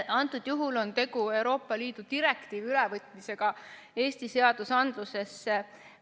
Antud juhul on tegu Euroopa Liidu direktiivi ülevõtmisega Eesti seadusandlusesse.